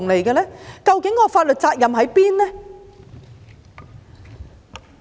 究竟法律責任在哪裏？